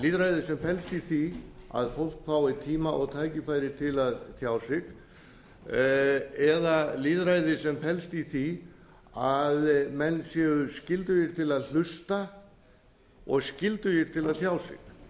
lýðræðið sem felst í því að fólk fái tíma og tækifæri til að tjá sig eða lýðræði sem felst í því að menn séu skyldugir til að hlusta og skyldugir til að tjá sig ég hef